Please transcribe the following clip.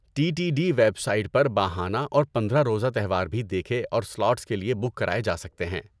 T T D website پر ماہانہ اور پندرہ روزہ تہوار بھی دیکھے اور سلاٹس کے لیے بک کرائے جا سکتے ہیں۔